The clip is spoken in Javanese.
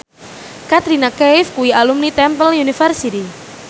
Katrina Kaif kuwi alumni Temple University